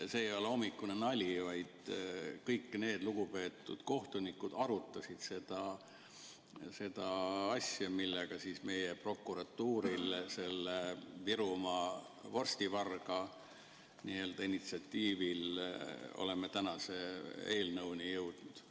See ei ole hommikune nali, vaid kõik need lugupeetud kohtunikud arutasid seda asja, mille tõttu meie, prokuratuuri ja Virumaa vorstivarga initsiatiivil, oleme tänase eelnõuni jõudnud.